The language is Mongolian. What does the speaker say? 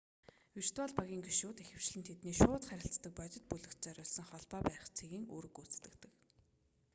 виртуал багийн гишүүд ихэвчлэн тэдний шууд харилцдаг бодит бүлэгт зориулсан холбоо барих цэгийн үүрэг гүйцэтгэдэг